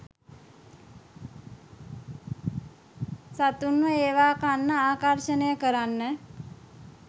සතුන්ව ඒව කන්න ආකර්ශනය කරන්න.